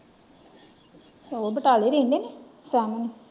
ਉਹ ਬਟਾਲੇ ਰਹਿੰਦੇ ਨੇ .